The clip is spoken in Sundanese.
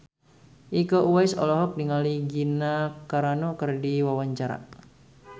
Iko Uwais olohok ningali Gina Carano keur diwawancara